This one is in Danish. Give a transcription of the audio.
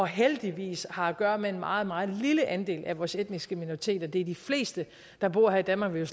heldigvis har at gøre med en meget meget lille andel af vores etniske minoriteter de de fleste der bor her i danmark vil